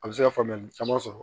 A bɛ se ka faamuyali caman sɔrɔ